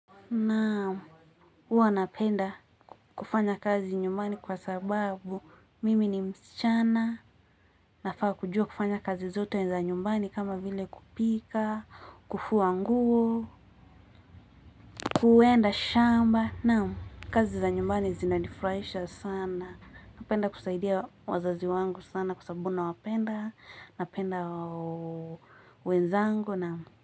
Naam, uwa napenda kufanya kazi nyumbani kwa sababu mimi ni msichana, nafaa kujua kufanya kazi zote za nyumbani kama vile kupika, kufua nguo, kuenda shamba, naam, kazi za nyumbani zinanifuraisha sana, napenda kusaidia wazazi wangu sana kwa sababu na wapenda, napenda wenzangu, naam.